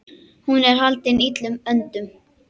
Hún er haldin illum öndum.